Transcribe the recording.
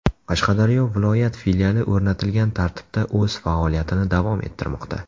Qashqadaryo viloyat filiali o‘rnatilgan tartibda o‘z faoliyatini davom ettirmoqda.